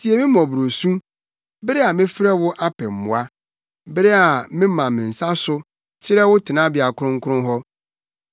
Tie me mmɔborɔsu bere a mefrɛ wo apɛ mmoa, bere a mema me nsa so kyerɛ wo Tenabea Kronkron hɔ.